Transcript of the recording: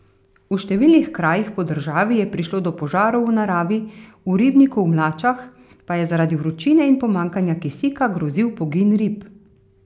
V številnih krajih po državi je prišlo do požarov v naravi, v ribniku v Mlačah pa je zaradi vročine in pomanjkanja kisika grozil pogin rib.